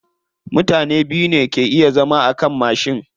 Mutane biyu ne ke iya zama akan mashi.